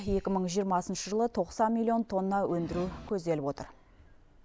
екі мың жиырмасыншы жылы тоқсан миллион тонна өндіру көзделіп отыр